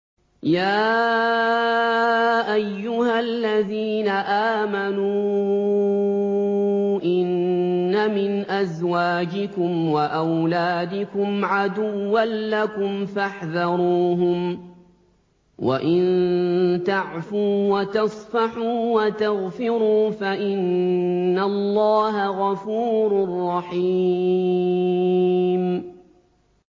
يَا أَيُّهَا الَّذِينَ آمَنُوا إِنَّ مِنْ أَزْوَاجِكُمْ وَأَوْلَادِكُمْ عَدُوًّا لَّكُمْ فَاحْذَرُوهُمْ ۚ وَإِن تَعْفُوا وَتَصْفَحُوا وَتَغْفِرُوا فَإِنَّ اللَّهَ غَفُورٌ رَّحِيمٌ